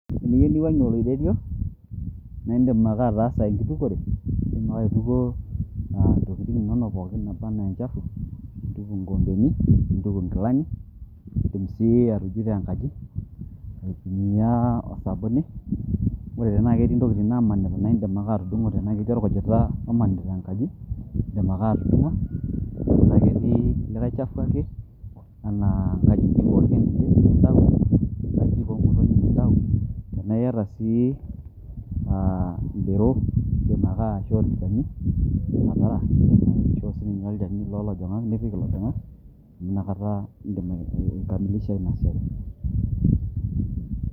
Eniyieu niwuang'ie oloiterio, naidim ake ataasa enkitukore, niidim ake aituko ah intokiting' inono pookin naaba ena enchafu, nintuku ikoombeni, nintuku nkilani, idim si atujuto enkaji, aitumia osabuni, ore tenaa ketii intokiting' namanita, naidim ake atudumu. Tena ketii orkujita omanita enkaji, iidim ake atudung'o. Tena ketii likae chafu ake, enaa inkajijik orkedike nitau, nkajijik omotonyik nitau. Tenaa iyata si ah idero, iidim ake aishoo olchani, idim atara. Idim aishoo sininche olchani lo lajang'a, nipik ilojang'a amu nakata iidim ai kamilisha inasiai.